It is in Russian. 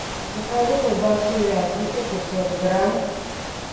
закажи колбасу вязанка пятьсот грамм